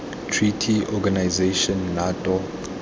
treaty organization nato